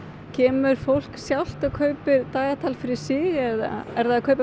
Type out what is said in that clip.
kemur fólk sjálft og kaupir dagatal fyrir sig eða er það að kaupa